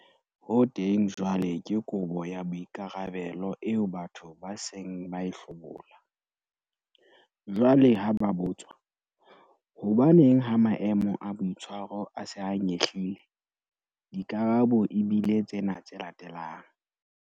Ho teng jwale ke kobo ya boikarabelo eo batho ba seng ba e hlobola. Jwale ha ba botswa- Hobaneng ha maemo a boitshwaro a se a nyehlile? Dikarabo e bile tsena tse latelang-